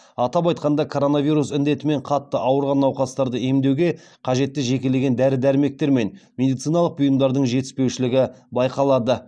атап айтқанда коронавирус індетімен қатты ауырған науқастарды емдеуге қажетті жекелеген дәрі дәрмектер мен медициналық бұйымдардың жетіспеушілігі байқалады